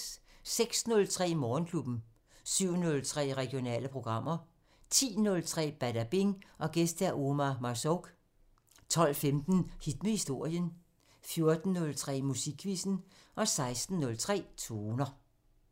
06:03: Morgenklubben 07:03: Regionale programmer 10:03: Badabing: Gæst Omar Marzouk 12:15: Hit med historien 14:03: Musikquizzen 16:03: Toner